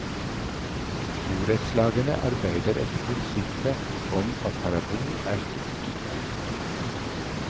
Borettslagene arbeider etter prinsippet om at parabol er stygt.